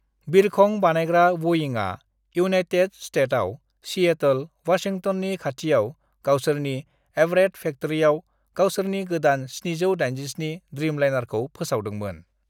"बिरखं बानायग्रा बइंआ इउनायटेट स्तेतआव सिएटल, वाशिंगटननि खाथियाव गावसोरनि एवरेट फेक्ट्रीयाव गावसोरनि गोदान 787 ड्रीमलाइनारखौ फोसावदोंमोन।"